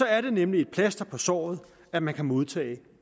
er det nemlig et plaster på såret at man kan modtage